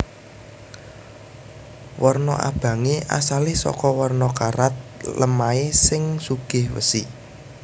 Warna abangé asalé saka warna karat lemahé sing sugih wesi